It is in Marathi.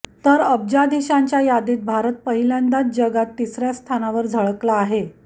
तर अब्जाधीशांच्या यादीत भारत पहिल्यांदाच जगात तिसर्या स्थानावर झळकला आहे